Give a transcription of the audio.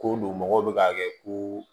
Ko don mɔgɔw bɛ k'a kɛ ko